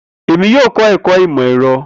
Emi yoo kọ ẹkọ Imọ-ẹrọ.